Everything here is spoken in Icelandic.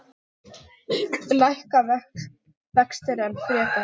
Lækka vextir enn frekar?